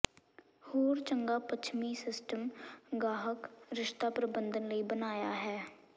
ਹੋਰ ਚੰਗਾ ਪੱਛਮੀ ਸਿਸਟਮ ਗਾਹਕ ਰਿਸ਼ਤਾ ਪ੍ਰਬੰਧਨ ਲਈ ਬਣਾਇਆ ਹੈ